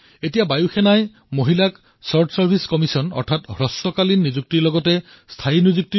এতিয়া বায়ুসেনাই মহিলাসকলক শৰ্ট ছাৰ্ভিছ কমিছন ৰ সৈতে পাৰ্মানেন্ট কমিছন ৰ বিকল্পও প্ৰদান কৰি আছে